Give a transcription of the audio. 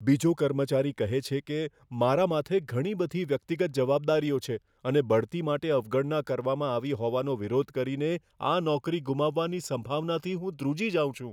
બીજો કર્મચારી કહે છે કે, મારા માથે ઘણી બધી વ્યક્તિગત જવાબદારીઓ છે અને બઢતી માટે અવગણના કરવામાં આવી હોવાનો વિરોધ કરીને આ નોકરી ગુમાવવાની સંભાવનાથી હું ધ્રુજી જાઉં છું.